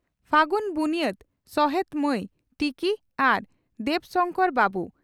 ᱯᱷᱟᱹᱜᱩᱱ ᱵᱩᱱᱭᱟᱹᱫᱽ ᱥᱚᱦᱮᱛ ᱢᱟᱹᱭ ᱴᱤᱠᱤ ᱟᱨ ᱫᱮᱵᱽ ᱥᱚᱝᱠᱚᱨ ᱵᱟᱹᱵᱩ